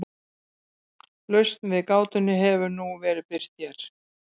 Lausn við gátunni hefur nú verið birt hér.